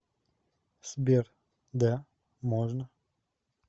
сбер да можно